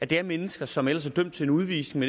det er mennesker som ellers er dømt til udvisning